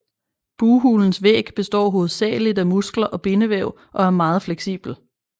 Bughulens væg består hovedsageligt af muskler og bindevæv og er meget fleksibel